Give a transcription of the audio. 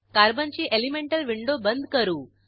कार्बनची elemental window बंद करू